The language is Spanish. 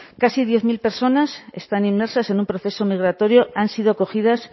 casi diez mil personas están inmersas en un proceso migratorio han sido acogidas